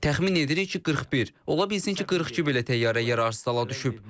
Təxmin edirik ki, 41, ola bilsin ki, 42 belə təyyarə yararsızala düşüb.